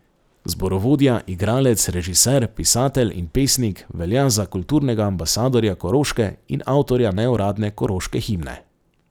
Zborovodja, igralec, režiser, pisatelj in pesnik velja za kulturnega ambasadorja Koroške in avtorja neuradne koroške himne.